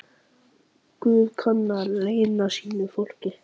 Guð kann að launa sínu fólki.